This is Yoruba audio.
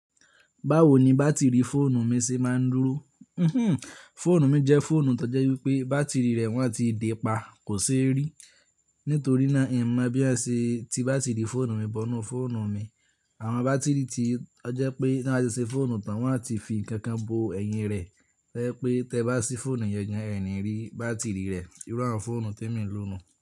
Báwo ni bátìrì fóònù mi ṣe máa ń dúró? Fóònù mi jẹ́ fóònù tó jẹ́ wípé bàtìrì rẹ wọn ti de pa, kò ṣe rí. Nítorí náà, è mọ bí a ṣe ti bátìrì fóònù mi bọ́nù fóònù mi. Àwọn bátìrì tí ó jẹ́ pé tí wọ́n bá ṣe fóònù tán, wọn a ti fi nǹkan kan bo ẹ̀yìn rẹ̀. Tó jẹ́ pé tí ẹ̀ bá ṣí fóònù yẹn gan-an ẹ̀ ní rí bàtìrì rẹ. Irú àwọn fóònù tí èmi ń lò nù.